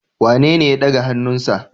Wanene ya daga hannunsa?